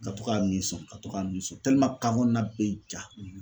Ka to ka min sɔn ka to ka nin so kan kɔnɔna bɛ ja